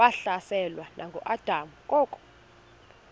wahlaselwa nanguadam kok